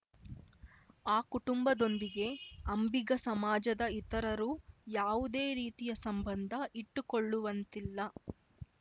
ಆ ಕುಟುಂಬದೊಂದಿಗೆ ಅಂಬಿಗ ಸಮಾಜದ ಇತರರು ಯಾವುದೇ ರೀತಿಯ ಸಂಬಂಧ ಇಟ್ಟುಕೊಳ್ಳುವಂತಿಲ್ಲ